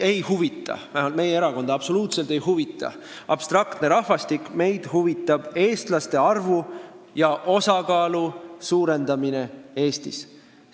Vähemalt meie erakonda ei huvita absoluutselt abstraktne rahvastik, meid huvitab eestlaste arvu ja osakaalu suurendamine Eestis.